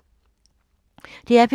DR P2